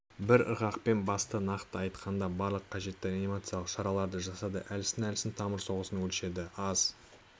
бір ырғақпен басты нақты айтқанда барлық қажетті реанимациялық шараларды жасады әлсін-әлсін тамыр соғысын өлшеді аз